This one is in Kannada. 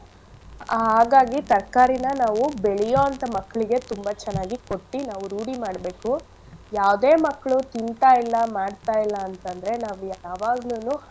ಆಹ್ ಹಾಗಾಗಿ ತರ್ಕಾರಿನ ನಾವು ಬೆಳಿಯೋಂಥ ಮಕ್ಳಿಗೆ ತುಂಬಾ ಚೆನ್ನಾಗಿ ಕೊಟ್ಟಿ ನಾವು ರೂಢಿ ಮಾಡ್ಬೇಕು. ಯಾವ್ದೆ ಮಕ್ಳು ತಿಂತಾಯಿಲ್ಲ ಮಾಡ್ತಾಯಿಲ್ಲ ಅಂತಂದ್ರೆ ನಾವು ಯಾವಾಗ್ಲುನು.